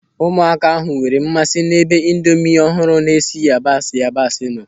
Ụmụaka ahụ nwere mmasị n'ebe indomi ọhụrụ na-esi yabasị yabasị nọ.